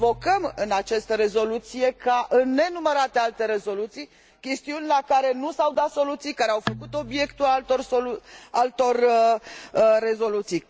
Invocăm în această rezoluție, ca în nenumărate alte rezoluții, chestiuni la care nu s au dat soluții, care au făcut obiectul altor rezoluții.